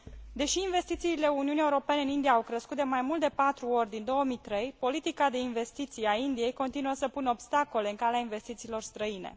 Deși investițiile Uniunii Europene în India au crescut de mai mult de patru ori din 2003, politica de investiții a Indiei continuă să pună obstacole în calea investițiilor străine.